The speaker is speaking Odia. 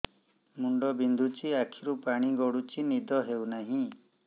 ମୁଣ୍ଡ ବିନ୍ଧୁଛି ଆଖିରୁ ପାଣି ଗଡୁଛି ନିଦ ହେଉନାହିଁ